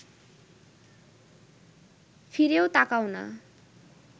ফিরেও তাকাও না